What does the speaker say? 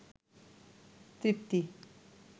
তৃপ্তি